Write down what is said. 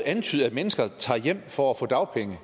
antyde at mennesker tager hjem for at få dagpenge og